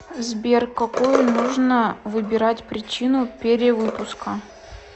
сбер какую нужно выбирать причину перевыпуска